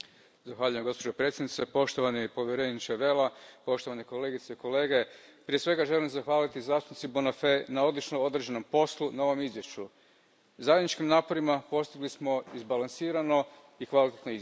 Poštovana predsjedavajuća, poštovani povjereniče Vella, poštovani kolegice i kolege, prije svega želim zahvaliti zastupnici Bonafè na odlično održanom poslu na ovom izvješću. Zajedničkim naporima postigli smo izbalansirano i kvalitetno izvješće.